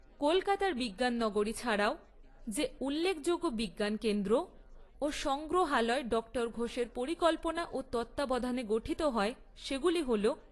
কলকাতার বিজ্ঞান নগরী ছাড়াও যে উল্লেখযোগ্য বিজ্ঞান কেন্দ্র ও সংগ্রহালয় ডক্টর ঘোষের পরিকল্পনা ও তত্ত্বাবধানে গঠিত হয় সেগুলি হল